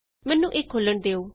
ਮੈਨੂੰ ਇਹ ਖੋਲ੍ਹਣ ਦਿਉ